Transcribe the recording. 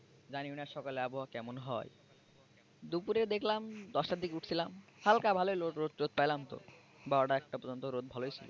জানিও না সকালে আবহাওয়া কেমন হয় দুপুরে দেখলাম দশটার দিকে উঠছিলাম হালকা ভালই রোদ টোদ পাইলাম তো বারোটা একটা পর্যন্ত রোদ ভালই ছিল।